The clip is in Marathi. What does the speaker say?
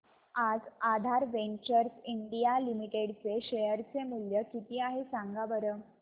आज आधार वेंचर्स इंडिया लिमिटेड चे शेअर चे मूल्य किती आहे सांगा बरं